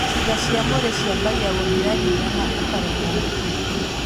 Ciĩga cia mwĩrĩ ciambagia gũthira hinya na ũkaremwo gũthiĩ.